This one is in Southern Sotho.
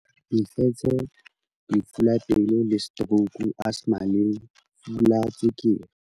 Mefetshe lefu la pelo le setorouku asthma lefu la tswekere.